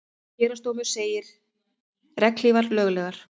Héraðsdómur segir regnhlífar löglegar